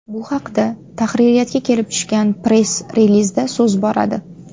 Bu haqda tahririyatga kelib tushgan press-relizda so‘z boradi.